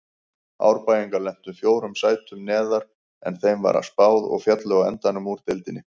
Árbæingar lentu fjórum sætum neðar en þeim var spáð og féllu á endanum úr deildinni.